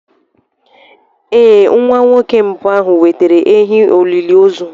Ee, Nwa nwoke mbụ ahụ wetara ehi olili ozu.